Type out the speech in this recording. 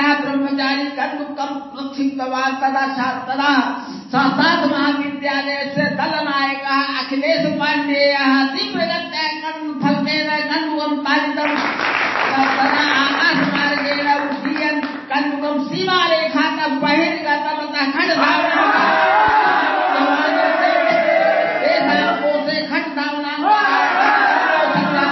cricket commentary